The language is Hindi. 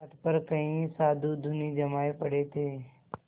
तट पर कई साधु धूनी जमाये पड़े थे